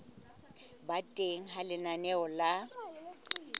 ba teng ha lenaneo la